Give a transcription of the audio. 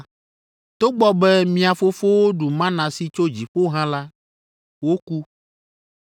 Togbɔ be mia fofowo ɖu mana si tso dziƒo hã la, woku.